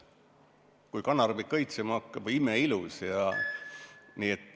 Kui kanarbik õitsema hakkab, on see imeilus.